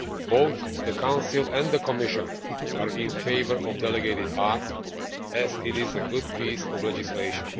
Both the Council and the Commission are in favour of the delegated act, as it is a good piece of legislation.